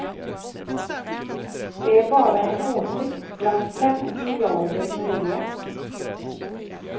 Det är bara en åsikt bland fem miljarder möjliga.